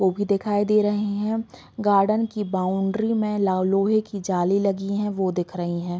वो भी दिखाई दे रहे है गार्डन की बाउंड्री में लाओ लोहे की जाली लगी है वो दिख रही है।